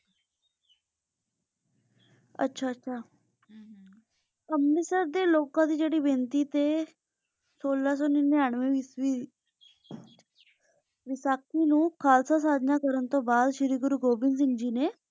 ਆਚਾ ਆਚਾ ਹਮ ਅੰਮ੍ਰਿਤਸਰ ਦੇ ਲੋਕਾਂ ਦੀ ਜੇਰੀ ਬੇਨਤੀ ਤੇ ਸੋਲਾਂ ਸੂ ਨਿਨਾਨਵੇ ਵਿਚ ਵੀ ਵਿਸ੍ਕਾਹੀ ਨੂੰ ਖਾਲਸਾ ਸਾਧਨਾ ਕਰਨ ਤੋਂ ਬਾਅਦ ਸ਼ੀਰੀ ਗੁਰੂ ਗੋਬਿੰਦਹ ਸਿੰਘ ਜੀ ਨੇ